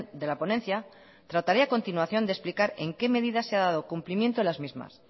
de la ponencia trataré a continuación de explicar en qué medidas se ha dado cumplimiento las mismas